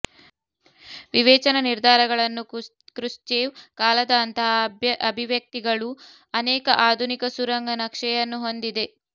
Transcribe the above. ವಿವೇಚನಾ ನಿರ್ಧಾರಗಳನ್ನು ಕ್ರುಶ್ಚೇವ್ ಕಾಲದ ಅಂತಹ ಅಭಿವ್ಯಕ್ತಿಗಳು ಅನೇಕ ಆಧುನಿಕ ಸುರಂಗ ನಕ್ಷೆಯನ್ನು ಹೊಂದಿದೆ